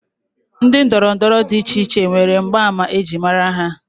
Ndị ndọrọndọrọ dị icheiche nwere mgbaàmà ejiri mara ha